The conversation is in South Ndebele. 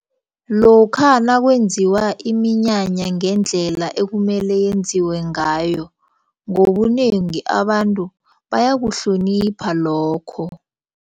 Lokha nakwenziwa iminyanya ngendlela ekumele yenziwe ngayo ngobunengi abantu bayakuhlonipha lokho.